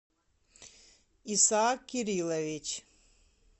исаак кириллович